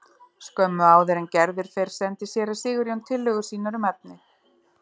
Skömmu áður en Gerður fer sendir séra Sigurjón tillögur sínar um efni.